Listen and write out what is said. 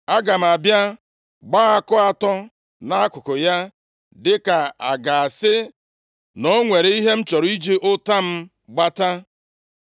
Aga m abịa gbaa àkụ atọ nʼakụkụ ya dịka a ga-asị na o nwere ihe m chọrọ iji ụta m gbata.